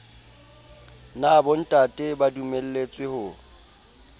na bontate ba dumelletswe ho